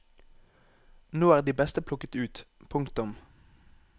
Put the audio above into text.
Nå er de beste plukket ut. punktum